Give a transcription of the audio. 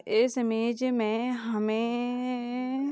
इस इमेज मे हमे--